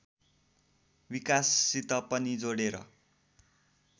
विकाससित पनि जोडेर